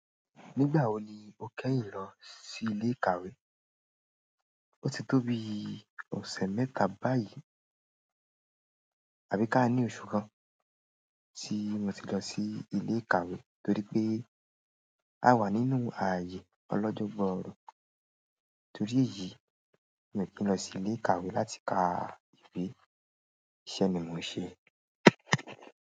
Nígbà wo ni o kẹ́yìn lọ sí ilé ìkàwé? O ti tó bi ọ̀sẹ̀ mẹ́ta báyìí àbí ká ní oṣù kan tí mo ti lọ sí ilé ìkàwé torí pé a wà nínú ààyè ọlọ́jọ́ gbooro. Torí èyí, mi ò kí n lọ sí ilé ìkàwé láti ka ìwé. Iṣẹ́ ni mo ń ṣe.